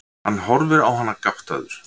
Hann horfir á hana gáttaður.